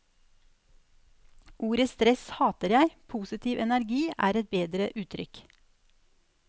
Ordet stress hater jeg, positiv energi er et bedre uttrykk.